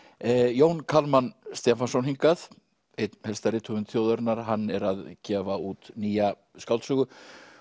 Jón Kalman Stefánsson hingað einn helsta rithöfund þjóðarinnar hann er að gefa út nýja skáldsögu